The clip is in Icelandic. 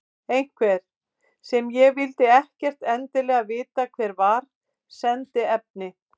Einhver, sem ég vildi ekkert endilega vita hver var, sendi efni.